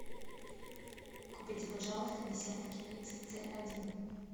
купите пожалуйста десяток яиц ц один